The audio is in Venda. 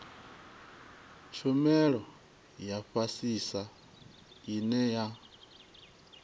tshumelo ya fhasisa ine ya